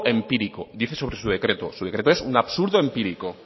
empírico dice sobre su decreto su decreto es un absurdo empírico